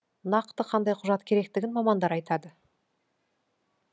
нақты қандай құжат керектігін мамандар айтады